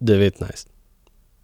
devetnajst.